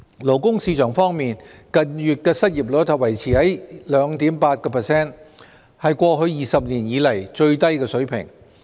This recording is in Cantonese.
勞工市場方面，近月的失業率維持在 2.8%， 是過去20年以來的最低水平。